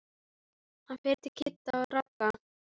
Hann fer til Kidda og Ragga.